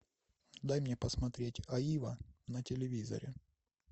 дай мне посмотреть аива на телевизоре